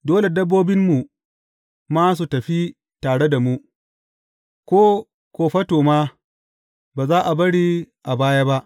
Dole dabbobinmu ma su tafi tare da mu; ko kofato ma, ba za a bari a baya ba.